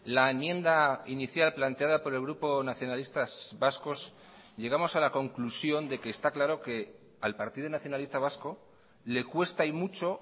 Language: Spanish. la enmienda inicial planteada por el grupo nacionalistas vascos llegamos a la conclusión de que está claro que al partido nacionalista vasco le cuesta y mucho